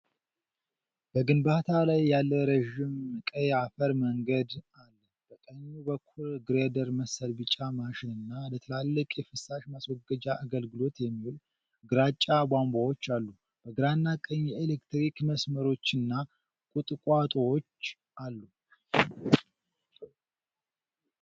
በግንባታ ላይ ያለ ረዥም ቀይ አፈር መንገድ አለ። በቀኝ በኩል ግሬደር መሰል ቢጫ ማሽንና ለትላልቅ የፍሳሽ ማስወገጃ አገልግሎት የሚውሉ ግራጫ ቧንቧዎች አሉ። በግራና ቀኝ የኤሌክትሪክ መስመሮችና ቁጥቋጦዎች አሉ።